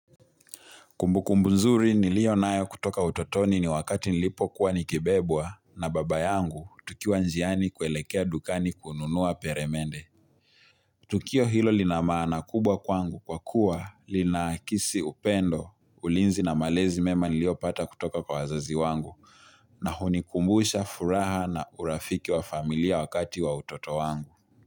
Kumbukumbu nzuri nilio nayo kutoka utotoni ni wakati nilipokuwa nikibebwa na baba yangu tukiwa njiani kuelekea dukani kununua peremende. Tukio hilo lina maana kubwa kwangu kwa kuwa lina akisi upendo, ulinzi na malezi mema niliopata kutoka kwa wazazi wangu na hunikumbusha furaha na urafiki wa familia wakati wa utoto wangu.